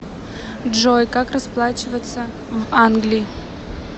джой как расплачиваться в англии